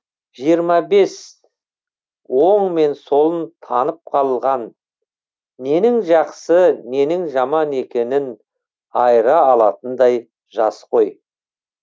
жиырма бес оң мен солын танып қалған ненің жақсы ненің жаман екенін айыра алатындай жас қой